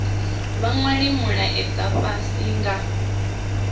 vha nwale mulaedza fhasi nga